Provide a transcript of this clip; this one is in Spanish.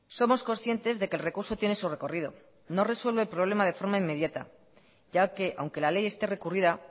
somos conscientes de que el recurso tiene su recorrido no resuelve el problema de forma inmediata ya que aunque la ley esté recurrida